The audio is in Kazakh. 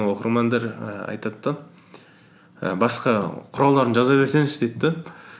оқырмандар і айтады да і басқа құралдарын жаза берсеңізші дейді де